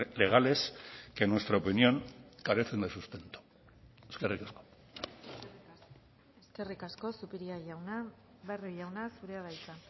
legales que en nuestra opinión carecen de sustento eskerrik asko eskerrik asko zupiria jauna barrio jauna zurea da hitza